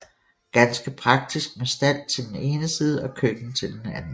Ganske praktisk med stald til den ene side og køkken til den anden